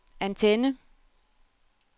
antenne